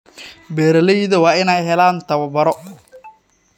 Beeralayda waa in ay helaan tababaro.